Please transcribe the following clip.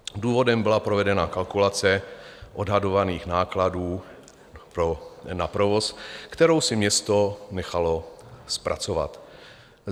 Důvodem byla provedená kalkulace odhadovaných nákladů na provoz, kterou si město nechalo zpracovat.